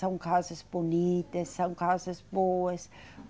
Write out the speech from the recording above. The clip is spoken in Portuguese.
São casas bonitas, são casas boas.